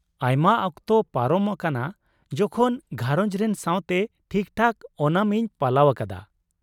ᱟᱭᱢᱟ ᱚᱠᱛᱚ ᱯᱟᱨᱚᱢ ᱟᱠᱟᱱᱟ ᱡᱚᱠᱷᱚᱱ ᱜᱷᱟᱨᱚᱸᱡᱽ ᱨᱮᱱ ᱥᱟᱶᱛᱮ ᱴᱷᱤᱠ ᱴᱷᱟᱠ ᱳᱱᱟᱢ ᱤᱧ ᱯᱟᱞᱟᱣ ᱟᱠᱟᱫᱟ ᱾